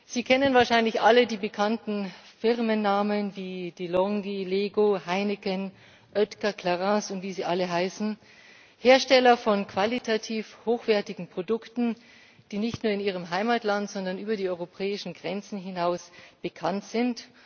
Sie kennen wahrscheinlich alle die bekannten Firmennamen, die De Longhi, Lego, Heineken, Oetker, Clarins und wie sie alle heißen Hersteller von qualitativ hochwertigen Produkten, die nicht nur in ihrem Heimatland, sondern über die europäischen Grenzen hinaus bekannt sind.